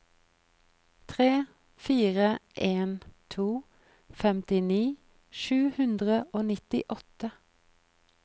tre fire en to femtini sju hundre og nittiåtte